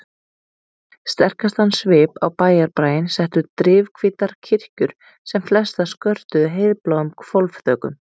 Sterkastan svip á bæjarbraginn settu drifhvítar kirkjur sem flestar skörtuðu heiðbláum hvolfþökum.